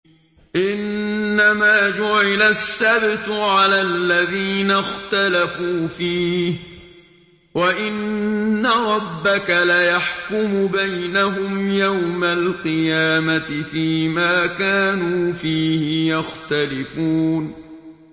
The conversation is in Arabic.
إِنَّمَا جُعِلَ السَّبْتُ عَلَى الَّذِينَ اخْتَلَفُوا فِيهِ ۚ وَإِنَّ رَبَّكَ لَيَحْكُمُ بَيْنَهُمْ يَوْمَ الْقِيَامَةِ فِيمَا كَانُوا فِيهِ يَخْتَلِفُونَ